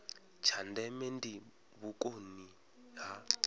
tsha ndeme ndi vhukoni ha